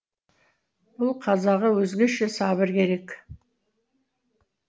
бұл қазаға өзгеше сабыр керек